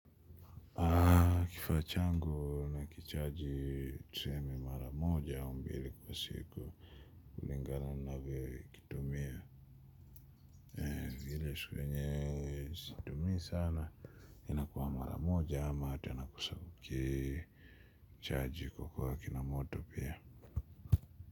Kifaa changu nakichaji tusemi mara moja au mbili kwa siku. Kulingana navyo kitumia. Vile siku yenye situmia sana. Inakua mara moja ama hata nakosa kuki. Chaji kwa kua kina moto pia.